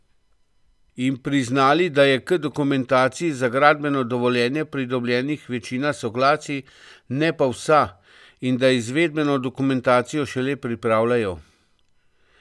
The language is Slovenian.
In priznali, da je k dokumentaciji za gradbeno dovoljenje pridobljenih večina soglasij, ne pa vsa, in da izvedbeno dokumentacijo šele pripravljajo.